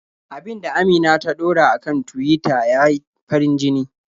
Abin da Amina ta ɗora a kan Tuwita ya yi farin-jini.